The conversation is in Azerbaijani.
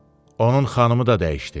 Onun xanımı da dəyişdi.